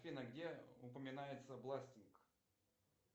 афина где упоминается бластинг